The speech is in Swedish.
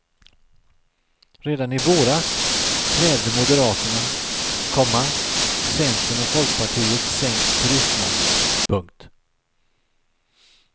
Redan i våras krävde moderaterna, komma centern och folkpartiet sänkt turistmoms. punkt